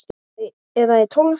Eða í tólf ár?